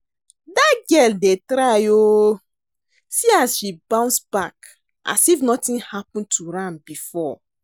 Dat girl dey try oo see as she bounce back as if nothing happen to am before